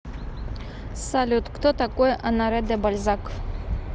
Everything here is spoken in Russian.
салют кто такой оноре де бальзак